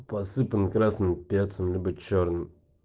посыпана красным перцем либо чёрным